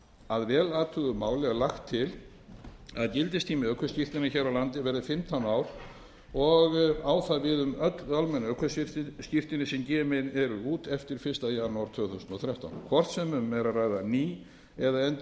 að vel athuguðu máli er lagt til að gildistími ökuskírteinis hér á landi verði fimmtán ár og á það við um öll almenn ökuskírteini sem gefin verða út eftir fyrsta janúar tvö þúsund og þrettán hvort sem um er að ræða ný eða endurútgefin